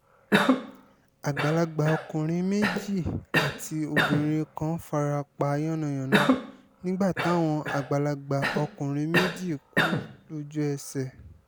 àgbàlagbà ọkùnrin méjì àti obìnrin kan fara pa yánnayànna nígbà táwọn àgbàlagbà ọkùnrin méjì kú lójú-ẹsẹ̀